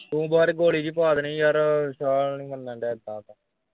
ਤੂੰ ਗੋਲੀ ਜੀ ਪਵਾ ਦੇਣੀ ਹੀ ਯਾਰ ਵਿਸ਼ਾਲ ਨੀ ਮੰਨਣ ਦਿਆ